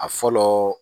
A fɔlɔ